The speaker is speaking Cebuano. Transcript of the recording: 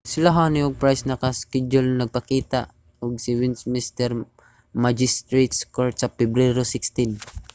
sila huhne ug pryce naka-skedyul nga magpakita sa westminster magistrates court sa pebrero 16